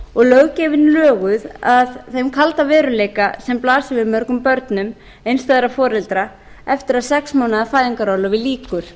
og löggjöfin löguð að þeim kalda veruleika sem blasir við mörgum börnum einstæðra foreldra eftir að sex mánaða fæðingarorlofi lýkur